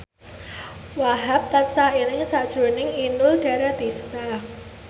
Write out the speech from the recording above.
Wahhab tansah eling sakjroning Inul Daratista